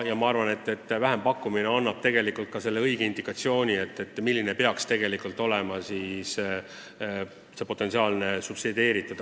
Ma arvan, et vähempakkumine annab selle õige indikatsiooni, milline peaks tegelikult olema potentsiaalne subsideeritud energia osakaal.